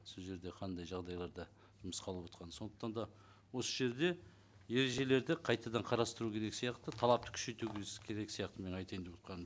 сол жерде қандай жағдайларда жұмысқа алып отырғанын сондықтан да осы жерде ережелерді қайтадан қарастыру керек сияқты талапты күшейту керек сияқты мен айтайын деп отырғаным